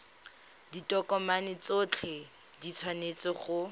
ditokomane tsotlhe di tshwanetse go